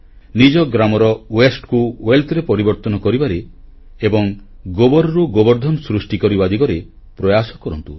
ନିଜ ଗ୍ରାମର ବର୍ଜ୍ୟକୁ ସମ୍ପଦରେ ପରିବର୍ତ୍ତନ କରିବାରେ ଏବଂ ଗୋବରରୁ ଗୋବରଧନ ସୃଷ୍ଟି କରିବା ଦିଗରେ ପ୍ରୟାସ କରନ୍ତୁ